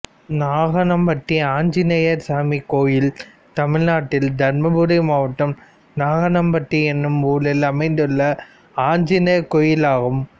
நாகனம்பட்டி ஆஞ்சநேயர் சாமி கோயில் தமிழ்நாட்டில் தர்மபுரி மாவட்டம் நாகனம்பட்டி என்னும் ஊரில் அமைந்துள்ள ஆஞ்சநேயர் கோயிலாகும்